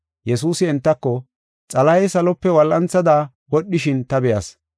Yesuusi entako, “Xalahey salope wol7anthada wodhishin ta be7as.